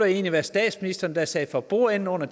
det var statsministeren der sad for bordenden under